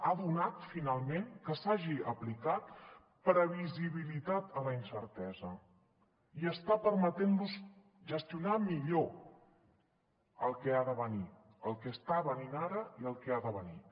ha donat finalment que s’hagi aplicat previsibilitat a la incertesa i està permetent los gestionar millor el que ha de venir el que està venint ara i el que ha de venir